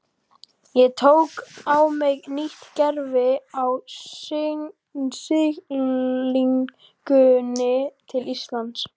Ég tók á mig nýtt gervi á siglingunni til Íslands.